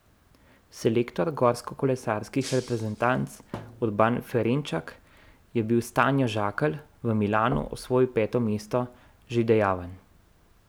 Selektor gorskokolesarskih reprezentanc Urban Ferenčak je bil s Tanjo Žakelj, v Milanu je osvojila peto mesto, že dejaven.